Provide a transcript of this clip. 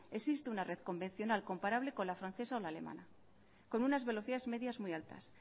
existe una red convencional comparable con la francesa o la alemana con unas velocidades medias muy altas